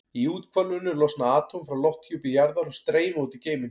Í úthvolfinu losna atóm frá lofthjúpi jarðar og streyma út í geiminn.